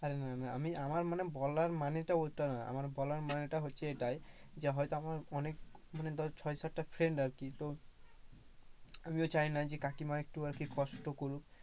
আরে না না আমি মানে আমার বলার মানেটা ওটা নয়, আমার বলার মানেটা হচ্ছে এটাই যে হয়তো আমার ধর ছয় সাতটা friend আর কি তো আমিও চাইনা কাকিমাও একটু আর কি কষ্ট করুক।